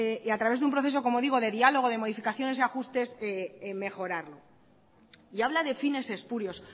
a través de un proceso como digo de diálogo de modificaciones y ajustes mejorarlo y habla de fines espurios